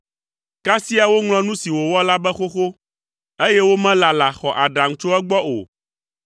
Kasia woŋlɔ nu si wòwɔ la be xoxo, eye womelala xɔ aɖaŋu tso egbɔ o.